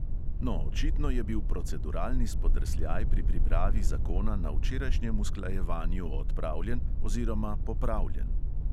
No, očitno je bil proceduralni spodrsljaj pri pripravi zakona na včerajšnjem usklajevanju odpravljen oziroma popravljen.